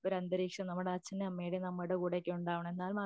ഒരന്തരീക്ഷം നമ്മുടെ അച്ഛൻറെ അമ്മയുടെയും നമ്മുടെ കൂടെയൊക്കെ ഉണ്ടാവണം എന്നാൽ